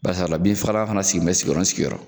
Barisala binfagala fana sigilen bɛ sigiyɔrɔ ni sigiyɔrɔ